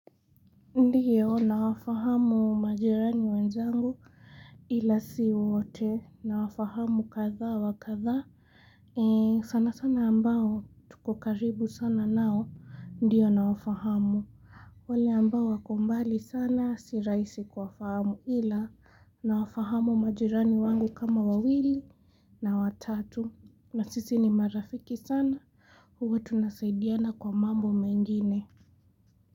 Ndiyo na fahamu majirani wenzangu. Ila si wote, nawafahamu kadha wa kadha. Ee sana sana ambao, tuko karibu sana nao, ndiyo na wafahamu. Wale ambao wako mbali sana, si rahisi kuwafahamu ila nawafahamu majirani wangu kama wawili, na watatu, na sisi ni marafiki sana, huwa tunasaidiana kwa mambo mengine.